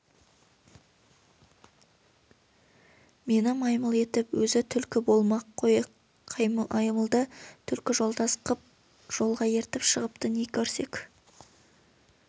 мені маймыл етіп өзі түлкі болмақ қой маймылды түлкі жолдас қып жолға ертіп шығыпты не көрсек